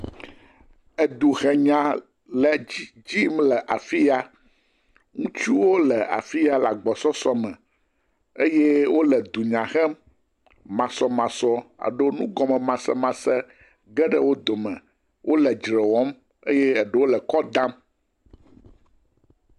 Eduhenya le edzi dzi yim le afi ya. Ŋutsuwo le afi ya le agbɔsɔsɔme eye wole dunya hem. Masɔmasɔ aɖoo nugɔmemasemase ge ɖe wo dome. Wole dzre wɔm eye eɖwo le kɔ dam.